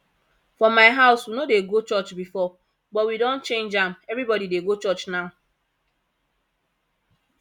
for my house we no dey go church before but we don change am everybody dey go church now